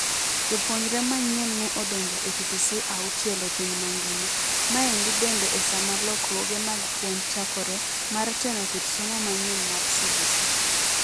Jopuonjre manyien ne odonjo e TTC auchiel e piny mangima. Mendi bende e sama lokruoge mag puonj chakore, mar teno kit somo manyien mar CBC.